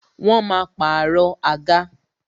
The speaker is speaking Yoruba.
Wọn máa pàrọ̀ àga.